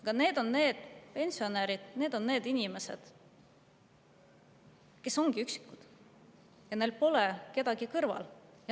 Aga need ongi need pensionärid, inimesed, kes on üksikud ja kellel pole kedagi kõrval.